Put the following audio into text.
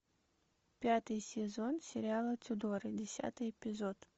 пятый сезон сериала тюдоры десятый эпизод